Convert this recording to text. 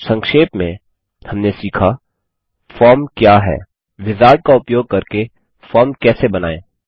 संक्षेप में हमने सीखा फॉर्म क्या है विजार्ड का उपयोग करके फॉर्म कैसे बनायें